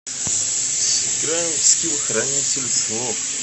сыграем в скил хранитель слов